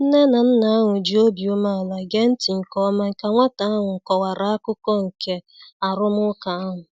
Nne na nna ahụ ji obi umeala gee ntị nke ọma ka nwata ahụ kọwara akụkụ nke arụmụka ahụ.